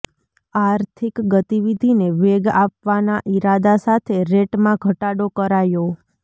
આર્થિક ગતિવિધિને વેગ આપવાના ઇરાદા સાથે રેટમાં ઘટાડો કરાયો